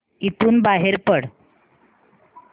इथून बाहेर पड